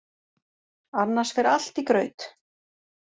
Annars fer allt í graut.